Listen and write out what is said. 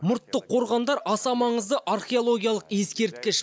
мұртты қорғандар аса маңызды археологиялық ескерткіш